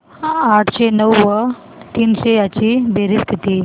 आठशे नऊ व तीनशे यांची बेरीज किती